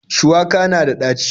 Shuwaka na da ɗaci.